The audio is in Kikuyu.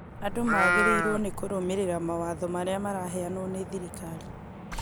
andũ magĩrĩirwo nĩ kũrũmĩrĩra mawatho marĩa maraheanwo nĩ thirikari